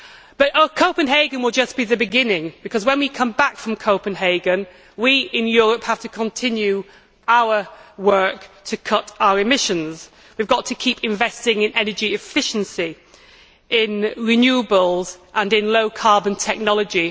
But Copenhagen will just be the beginning, because when we come back from Copenhagen, we in Europe will have to continue our work to cut our emissions. We have got to keep investing in energy efficiency, in renewables and in low carbon technology.